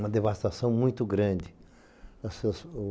Uma devastação muito grande.